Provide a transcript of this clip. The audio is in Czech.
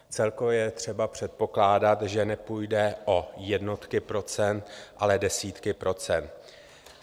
Celkově je třeba předpokládat, že nepůjde o jednotky procent, ale desítky procent.